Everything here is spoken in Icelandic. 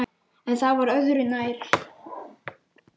En það var öðru nær!